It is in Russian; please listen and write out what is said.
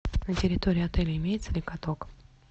на территории отеля имеется ли каток